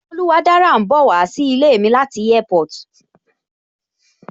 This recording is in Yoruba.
Oluwadára ń bowa sí ilé mi láti Airport